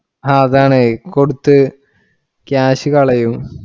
അഹ് അതാണ് കൊടുത്ത്‌ cash കളയും.